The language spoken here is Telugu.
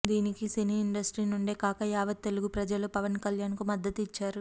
దీనికి సినీ ఇండస్ట్రీ నుండే కాక యావత్ తెలుగు ప్రజలు పవన్ కళ్యాణ్ కు మద్దతు ఇచ్చారు